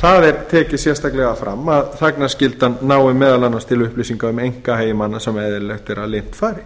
það er tekið sérstaklega fram að þagnarskyldan nái meðal annars til upplýsinga um einkahagi manna sem eðlilegt er að leynt fari